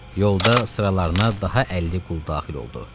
Yolda sıralarına daha 50 qul daxil oldu.